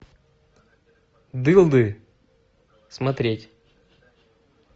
дылды смотреть